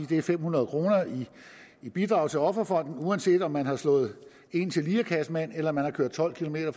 det er fem hundrede kroner i bidrag til offerfonden uanset om man har slået en til lirekassemand eller om man har kørt tolv kilometer